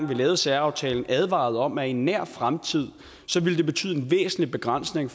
vi lavede særaftalen advarede om at det i en nær fremtid ville betyde en væsentlig begrænsning